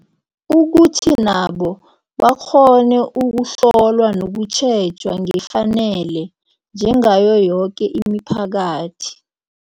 Ukuthi nabo bakghone ukuhlolwa nokutjhejwa ngefanele, njengayo yoke imiphakathi.